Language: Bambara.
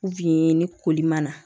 ni koli man na